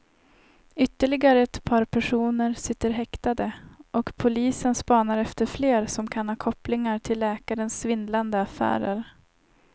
Ytterligare ett par personer sitter häktade och polisen spanar efter fler som kan ha kopplingar till läkarens svindlande affärer.